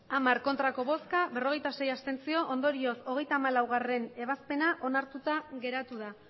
hamar abstentzioak berrogeita sei ondorioz hogeita hamalaugarrena ebazpena onartuta geratu da